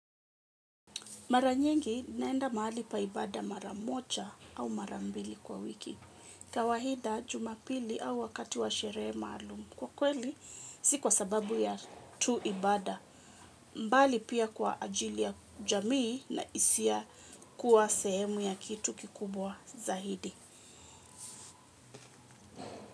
Maranyingi naenda mahali pa ibada maramocha au marambili kwa wiki. Kawahida jumapili au wakati wa sheree malum. Kwa kweli, sikuwa sababu ya tuibada. Mbali pia kwa ajili ya jamii na isia kuwa sehemu ya kitu kikubwa zaidi.